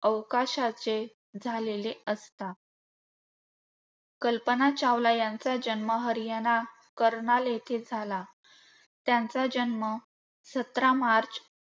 अवकाशाचे झालेले असता. कल्पना चावला यांचा जन्म हरियाणा, करनाल येथे झाला. त्यांचा जन्म सतरा मार्च